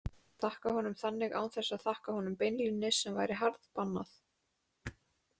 Þakka honum þannig án þess að þakka honum beinlínis sem væri harðbannað.